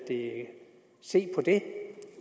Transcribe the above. ikke se på det